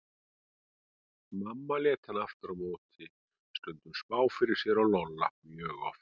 Mamma lét hana aftur á móti stundum spá fyrir sér og Lolla mjög oft.